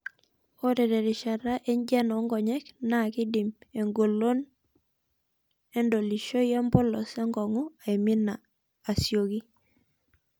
Ore terishata enjian oonkonyek naa keidim engolon endolishoto empolos enkong'u aimina asioki.